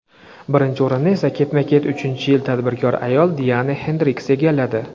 Birinchi o‘rinni esa ketma-ket uchinchi yil tadbirkor ayol Diana Xendriks egalladi.